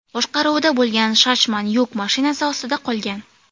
boshqaruvida bo‘lgan Shacman yuk mashinasi ostida qolgan.